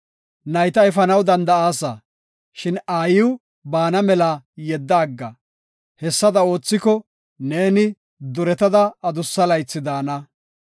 Nayta efanaw danda7aasa; shin aayiw baana mela yedda agga. Hessada oothiko, neeni duretada adussa laythi daana.